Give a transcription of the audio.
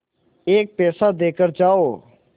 एक पैसा देकर जाओ